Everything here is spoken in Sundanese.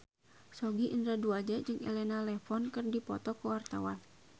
Sogi Indra Duaja jeung Elena Levon keur dipoto ku wartawan